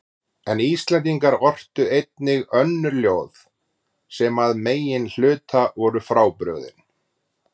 En Íslendingar ortu einnig önnur ljóð sem að meginhluta voru frábrugðin